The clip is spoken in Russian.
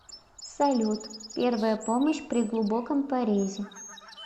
салют первая помощь при глубоком порезе